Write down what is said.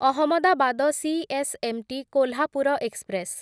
Ahmedabad CSMT Kolhapur express